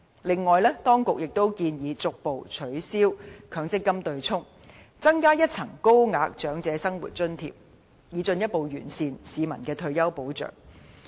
此外，當局也建議逐步取消強積金對沖安排，增加一層高額長者生活津貼，以進一步完善市民的退休保障。